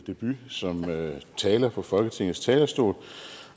debut som taler på folketingets talerstol